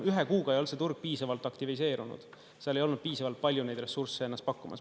Ühe kuuga ei ole see turg piisavalt aktiviseerunud, seal ei olnud piisavalt palju neid ressursse ennast pakkumas.